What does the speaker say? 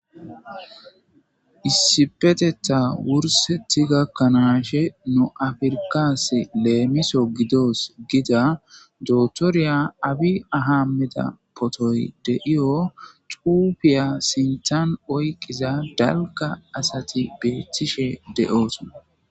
Issipeteta wurseti gakkanaashe nu afirkas leemiso gidos gida dootoriya Abi Ahammida potoy de'iyo xuufiya sinthan oyiqqiza dalgga asati beethtishe de'oosona.